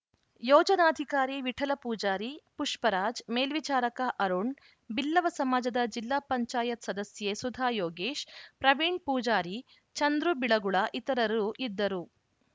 ಯೋಜನಾಧಿಕಾರಿ ವಿಠಲ ಪೂಜಾರಿ ಪುಷ್ಪರಾಜ್‌ ಮೇಲ್ವಿಚಾರಕ ಅರುಣ್‌ ಬಿಲ್ಲವ ಸಮಾಜದ ಜಿಲ್ಲಾ ಪಂಚಾಯತ್ ಸದಸ್ಯೆ ಸುಧಾಯೋಗೇಶ್‌ ಪ್ರವೀಣ್‌ ಪೂಜಾರಿ ಚಂದ್ರುಬಿಳಗುಳ ಇತರರು ಇದ್ದರು